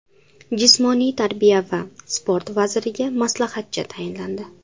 Jismoniy tarbiya va sport vaziriga maslahatchi tayinlandi.